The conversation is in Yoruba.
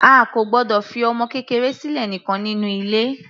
A kò gbọdọ̀ fi ọmọ kékeré sílẹ̀ nìkan nínú ilé.